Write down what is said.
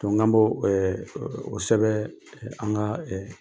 Donc n ko kan bɔ ɛɛ e o sɛbɛn ɛɛ an ka ɛɛ